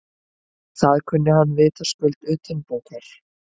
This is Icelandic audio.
Það kunni hann vitaskuld utanbókar.